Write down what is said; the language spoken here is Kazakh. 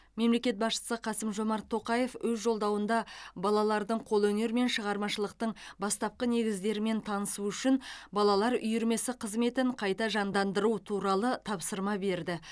мемлекет басшысы қасым жомарт тоқаев өз жолдауында балалардың қолөнер мен шығармашылықтың бастапқы негіздерімен танысуы үшін балалар үйірмесі қызметін қайта жандандыру туралы тапсырма берді